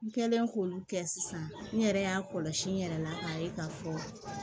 N kɛlen k'olu kɛ sisan n yɛrɛ y'a kɔlɔsi n yɛrɛ la k'a ye k'a fɔ